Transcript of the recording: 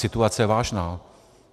Situace je vážná.